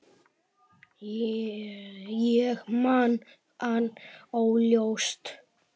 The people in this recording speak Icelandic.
Ég man hann óljóst.